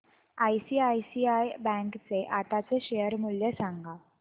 ICICI bank चे आताचे share मूल्य सांगा